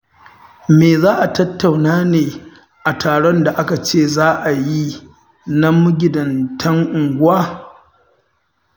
Me za a tattauna ne a taron da aka ce za a yi na magidantan unguwa?